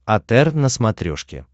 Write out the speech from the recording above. отр на смотрешке